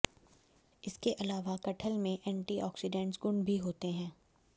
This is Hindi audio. इसके अलावा कटहल में एंटीऑक्सीडेंट गुण भी होते हैं